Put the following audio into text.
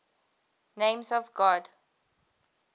names of god